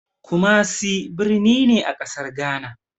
Kumasi birni ne a ƙasar Gana.